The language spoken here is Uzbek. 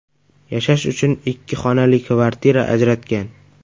Yashash uchun ikki xonali kvartira ajratgan.